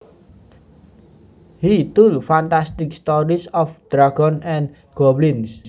He told fantastic stories of dragons and goblins